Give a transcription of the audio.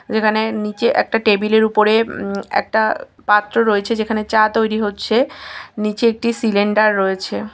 যেখানে নিচে একটা টেবিলের উপরে উম একটা পাত্র রয়েছে যেখানে চা তৈরি হচ্ছে। নিচে একটি সিলিন্ডার রয়েছে।